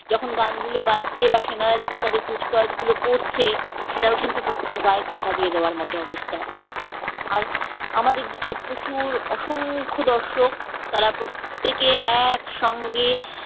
যখন গানগুলো বাজছে বা সেনারা যখন তাদের কুচকাওয়াজগুলো গুলো করছে সেটাও কিন্তু সত্যি গায়ে কাঁটা দিয়ে দেওয়ার মতন অবস্থা আমাদের দিকে প্রচুর অসংখ্য দর্শক তারা প্রত্যেকে একসঙ্গে